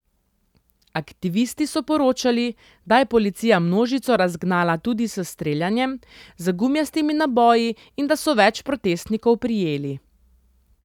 Aktivisti so poročali, da je policija množico razgnala tudi s streljanjem z gumijastimi naboji in da so več protestnikov prijeli.